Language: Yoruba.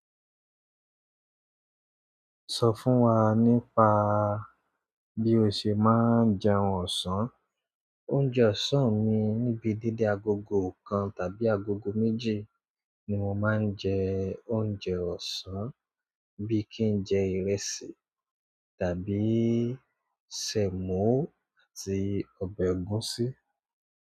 Sọ fún wa nípa bí o ṣe má ń jẹ oúnjẹ ọ̀sán. Oúnjẹ ọ̀sán mi, níbi dedé agogo kan tàbí agogo méjì ni mo máa ń jẹ oúnjẹ ọ̀sán. Bí i kí n jẹ ìrẹsì tàbí sèmó àti ọbẹ̀ ẹ̀gúsí.